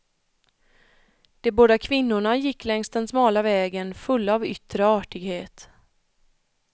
De båda kvinnorna gick längs den smala vägen fulla av yttre artighet.